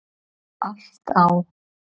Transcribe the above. Allt á